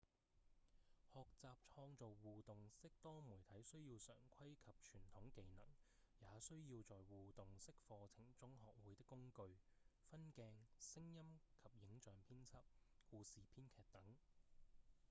學習創造互動式多媒體需要常規及傳統技能也需要在互動式課程中學會的工具分鏡、聲音及影像編輯、故事編劇等